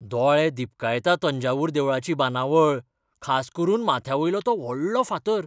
दोळे दिपकायता तंजावूर देवळाची बांदावळ, खास करून माथ्यावयलो तो व्हडलो फातर.